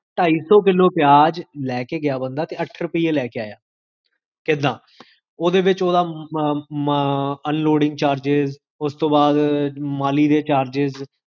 ਟਾਈ ਸੋ ਕਿਲੋ ਪਿਆਜ ਲੈ ਕੇ ਗਿਆ ਬੰਦਾ, ਤੇ ਅਠ ਰੁਪੀਏ ਲੈ ਕੇ ਆਇਆ ਕਿਦਾਂ? ਓਦੇ ਵਿੱਚ ਓਦਾ unloading charges, ਓਸ ਤੋ ਬਾਦ ਮਾਲੀ ਦੇ charges